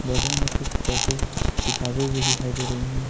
बदन में कुछ किताबें भी दिखाई दे रही है।